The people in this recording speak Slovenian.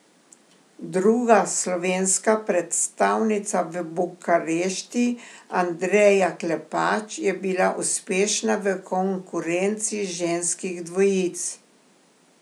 Druga slovenska predstavnica v Bukarešti Andreja Klepač je bila uspešna v konkurenci ženskih dvojic.